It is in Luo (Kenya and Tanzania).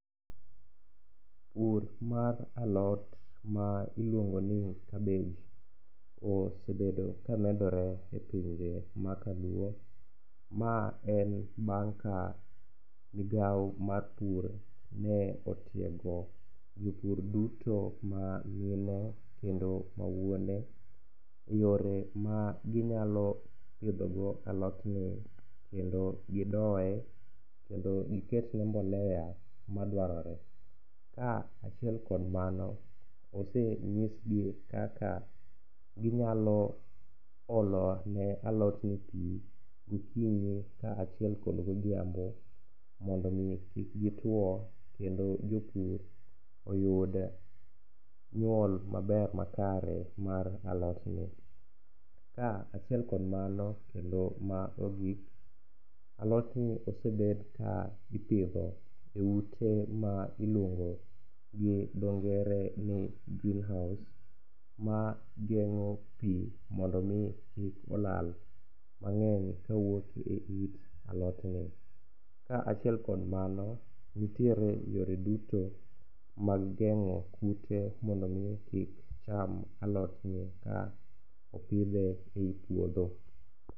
pur mar lot ma iluongoni kabej osebedo ka medore e pinje ma kaluo, ma en bang' ka migawo mar pur ne otiego jopur duto ma mine kendo ma wuone, yore ma ginyalo pidhogo alotni kendo gidoye kendo giketne mbolea ma dwarore, ka achiel kod mano, osenyisgi kaka ginyalo olo ne alotni pi okinyi ka achiel kod godhiambo mondo omi kik gituwo kendo jopur oyud nyuol maber makare mar alotni. Ka achiel kod mano, kendo ma ogik, alotni osebed ka ipidho e ute ma iluongo gi dhongere ni greenhouse mageng'o pi mondo omi kik olal, mang'eny kowuok e it alotni, ka achiel kod mano, nitiere yore duto mag geng'o kute mondo omi kik cham alotni ka opidhe ei puodho.